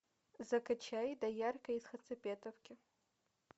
закачай доярка из хацапетовки